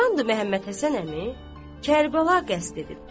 Çoxdandır Məhəmməd Həsən əmi Kərbəla qəsd edibdir.